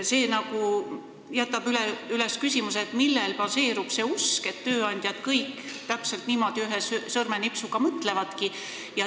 See aga jätab üles küsimuse, millel baseerub usk, et tööandjad kõik täpselt niimoodi ühe sõrmenipsu peale mõtlevadki.